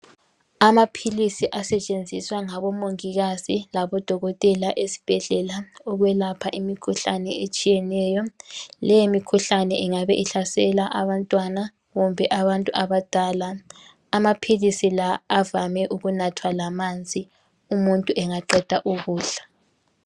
Amaphilisi asetshenziswa ngabo mongikazi labodokotela esibhedlela ukwelapha imikhuhlane etshiyeneyo. Leyo mikhuhlane ingabe ihlasela abantwana kumbe abantu abadala. Amaphilisi la avame ukunathwa lamanzi nxa umuntu engaqeda ukudla.